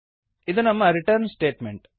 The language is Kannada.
ಇದು ನಮ್ಮ ರಿಟರ್ನ್ ಸ್ಟೇಟ್ಮೆಂಟ್